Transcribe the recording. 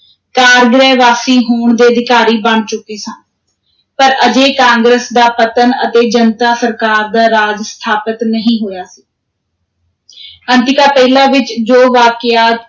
ਕਾਰਗ੍ਰਹਿ-ਵਾਸੀ ਹੋਣ ਦੇ ਅਧਿਕਾਰੀ ਬਣ ਚੁੱਕੇ ਸਨ, ਪਰ ਅਜੇ ਕਾਂਗਰਸ ਦਾ ਪਤਨ ਅਤੇ ਜਨਤਾ ਸਰਕਾਰ ਦਾ ਰਾਜ ਸਥਾਪਤ ਨਹੀਂ ਹੋਇਆ ਅੰਤਿਕਾ ਪਹਿਲਾ ਵਿਚ ਜੋ ਵਾਕਿਆ